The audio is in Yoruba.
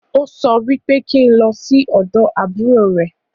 Ó sọ wípé kí n lọ sí ọ̀dọ̀ àbúrò rẹ̀